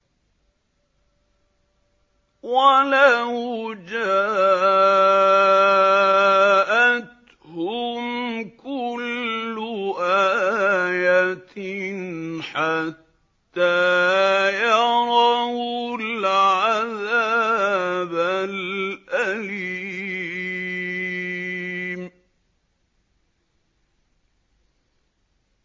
وَلَوْ جَاءَتْهُمْ كُلُّ آيَةٍ حَتَّىٰ يَرَوُا الْعَذَابَ الْأَلِيمَ